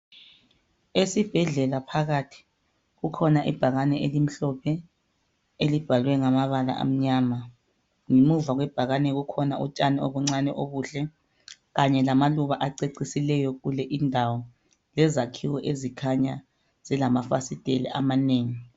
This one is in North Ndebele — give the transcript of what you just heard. Esibhedlela kukhona ibhakane elikhulu elimhlophe elibhalwe ngamabala amnyama ,ngemnva kwebhakane kukhona utshani obuncane obuhle kanye lamaluba acecisileyo lezakhiwo ezikhanyayo zilamafasisitela amanengi.